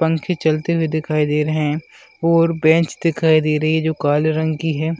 पंखे चलते दिखाई दे रहे हैं और बेंच दिखाई दे रही है जो काले रंग की है